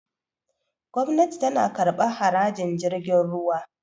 gwamnati tana kabar harajin jirgin ruwa